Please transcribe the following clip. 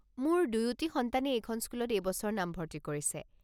মোৰ দুয়োটি সন্তানে এইখন স্কুলত এইবছৰ নামভৰ্তি কৰিছে।